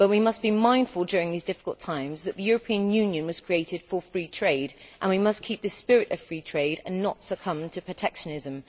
But we must be mindful, during these difficult times, that the European Union was created for free trade, and we must keep this spirit of free trade and not succumb to protectionism.